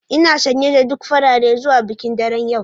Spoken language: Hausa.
Ina sanye da duk farare zuwa bikin daren yau